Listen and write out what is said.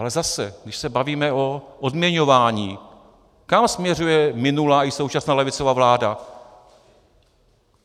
Ale zase, když se bavíme o odměňování, kam směřuje minulá i současná levicová vláda?